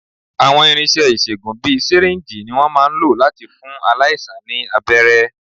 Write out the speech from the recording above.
Àwọn irinṣẹ́ ìṣègùn bíi sìríǹjì ni wọ́n máà ń lò láti fún aláìsàn ní abẹ́rẹ́.